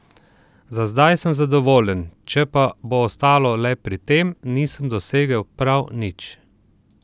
Za zdaj sem zadovoljen, če pa bo ostalo le pri tem, nisem dosegel prav nič.